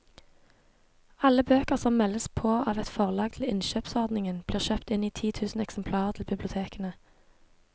Alle bøker som meldes på av et forlag til innkjøpsordningen blir kjøpt inn i tusen eksemplarer til bibliotekene.